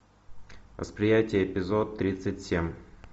восприятие эпизод тридцать семь